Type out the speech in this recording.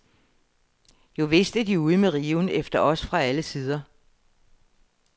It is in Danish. Jovist er de ude med riven efter os fra alle sider.